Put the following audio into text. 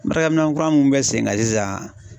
Baarakɛ minɛn kura mun bɛ sen kan sisan